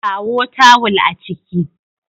Kawo tawul a ciki